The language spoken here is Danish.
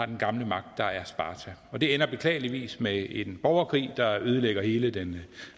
den gamle magt sparta og det ender beklageligvis med en borgerkrig der ødelægger hele den